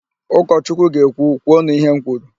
Ụkọchukwu ga-ekwu, " kwuonu ihe m kwuru"!